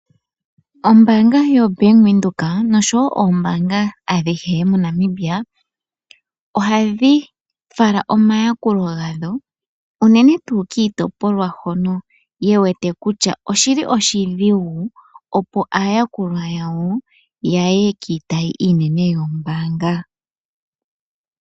Ombaanga yo Bank Windhoek noshowo oombaanga adhihe moNamibia, ohadhi fala omayakulo gadho unene tuu kiitopolwa hono ye wete kutya oshi li oshidhigu, opo aayakulwa yawo ya ye kiitayi iinene yoombaanga.